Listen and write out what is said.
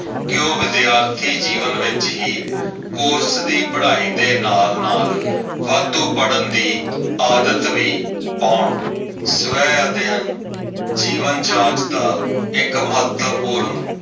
ਕੇ ਉਹ ਵਿਦਿਆਰਥੀ ਜੀਵਨ ਵਿੱਚ ਹੀ ਕੋਰਸ ਦੀ ਪੜ੍ਹਾਈ ਦੇ ਨਾਲ-ਨਾਲ ਵਾਧੂ ਪੜ੍ਹਨ ਦੀ ਆਦਤ ਵੀ ਪਾਉਣ।